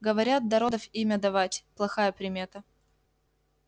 говорят до родов имя давать плохая примета